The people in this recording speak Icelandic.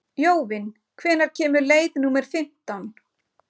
Jóvin, hvenær kemur leið númer fimmtán?